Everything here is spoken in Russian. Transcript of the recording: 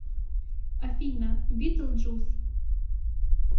афина битлджус